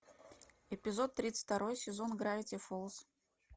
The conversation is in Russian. эпизод тридцать второй сезон гравити фолз